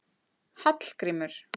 Hallgrímur